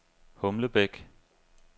Humlebæk